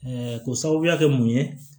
k'o sababuya kɛ mun ye